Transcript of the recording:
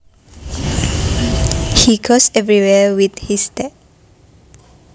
He goes everywhere with his dad